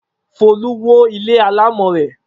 Folú wó ilé alámọ̀ rẹ̀.